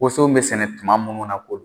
Woson be sɛnɛ tuma munnu na ko don